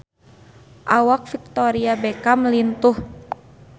Awak Victoria Beckham lintuh